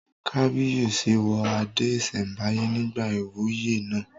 Kábíyèsí wọ adé ìsẹ̀mbáyé nígbà ìwúyè náà